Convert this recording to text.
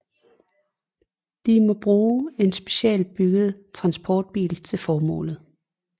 De må bruge en specialbygget transportbil til formålet